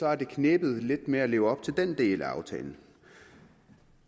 har det knebet lidt med at leve op til den del af aftalen